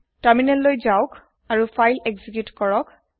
তাৰমিনেললৈ যাওক আৰু file execute কৰক